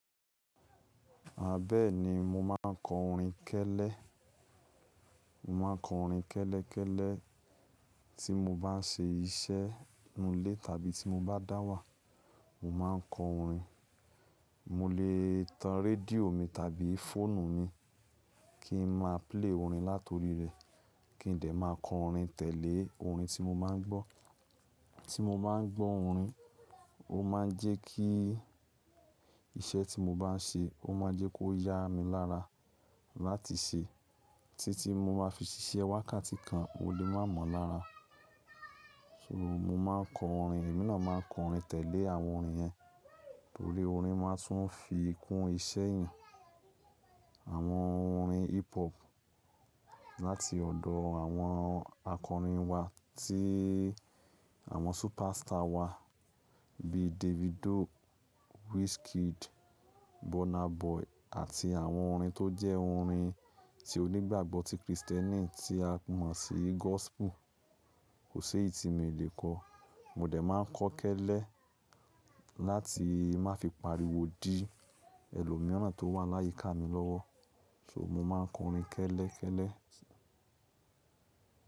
Ah, bẹ́ẹ̀ni mo máa ń kọ orin kẹ́lẹ́, mo máa ń kọ orin kẹ́lẹ́kẹ́lẹ́ tí mo bá ń ṣe iṣẹ́ nínú ilé tàbí tí mo bá dáwà. Mo máa ń kọ orin, mo lè tan rédíò mi tàbí fóònù mi kí n máa play orin láti orí rẹ̀, kí n dẹ̀ máa kọ orin tẹ̀lé orin tí mo máa ń gbọ́. Tí mo máa ń gbọ́ orin, ó máa ń jẹ́ kí iṣẹ́ tí mo bá ń ṣe, ó máa jẹ́ kó yá mi lára láti ṣe. Tití mo máa fi ṣiṣẹ́ wákàtí kan, ò le má mọ̀ lára. So, mo máa ń kọ orin, èmí náà máa ń kọ orin tẹ̀lé àwọn orin yẹn, torí orin máa tún fi kún iṣẹ́ èèyàn. Àwọn orin hip hop láti ọ̀dọ̀ àwọn akọrin wa tí àwọn superstar wa bí Davido, Wizkid, Burna Boy àti àwọn orin tó jẹ́ orin tí onígbàgbọ́ ti Krìstẹ́nì tí a mọ̀ sí gospel, kò ṣé èyí tìmí le kó. Mo dẹ̀ máa ń kọ kẹ́lẹ́ láti má fi pa ariwo dí ẹlòmíràn tó wà ní áyíká mi lọ́wọ́ So mo máa ń kọ orin kẹ́lẹ́ kẹ́lẹ́.